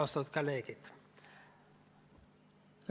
Austatud kolleegid!